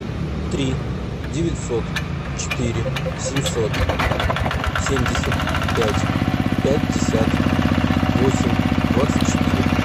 три девятьсот четыре семьсот семьдесят пять пятьдесят восемь двадцать четыре